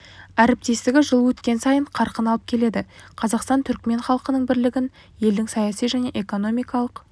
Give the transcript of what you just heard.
әріптестігі жыл өткен сайын қарқын алып келеді қазақстан түрікмен халқының бірлігін елдің саяси және экономикалық